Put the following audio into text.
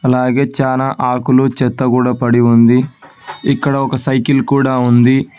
అలాగే చాలా ఆకులు చెత్త కూడా పడి ఉంది ఇక్కడ ఒక సైకిల్ కూడా ఉంది.